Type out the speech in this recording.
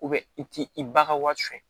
i t'i ba ka wari cɛn